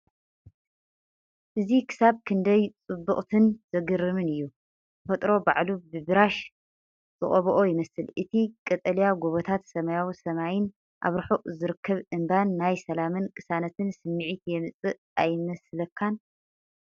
እዚ ክሳብ ክንደይ ጽብቕትን ዘገርምን እዩ? ተፈጥሮ ባዕሉ ብብራሽ ዝቐብኦ ይመስል። እቲ ቀጠልያ ጎቦታት፡ ሰማያዊ ሰማይን ኣብ ርሑቕ ዝርከብ እምባን ናይ ሰላምን ቅሳነትን ስምዒት የምጽእ ኣይመስለካን?